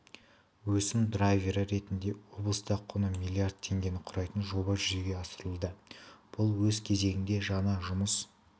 өсім драйвері ретінде облыста құны миллард теңгені құрайтын жоба жүзеге асырылуда бұл өз кезегінде жаңа жұмыс